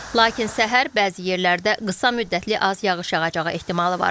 Lakin səhər bəzi yerlərdə qısa müddətli az yağış yağacağı ehtimalı var.